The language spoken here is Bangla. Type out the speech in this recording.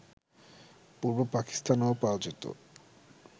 পূর্ব পাকিস্তানেও পাওয়া যেত